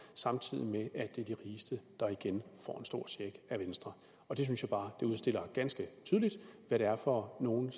samtidig med at det er de rigeste der igen får en stor check af venstre og det synes jeg bare udstiller ganske tydeligt hvad det er for nogle